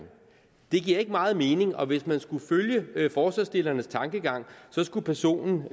det giver ikke meget mening og hvis man skulle følge forslagsstillernes tankegang skulle personen